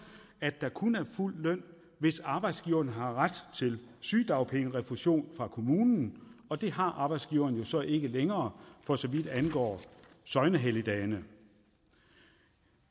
at der kun er fuld løn hvis arbejdsgiveren har ret til sygedagpengerefusion fra kommunen og det har arbejdsgiverne så ikke længere for så vidt angår søgnehelligdage